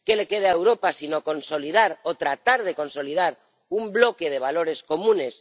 ¿Qué le queda a Europa sino consolidar o tratar de consolidar un bloque de valores comunes?